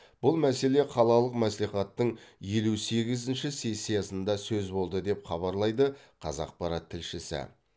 бұл мәселе қалалық мәслихаттың елу сегізінші сессиясында сөз болды деп хабарлайды қазақпарат тілшісі